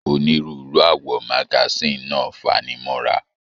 Onírúurú awọ magasin náà fanimọra.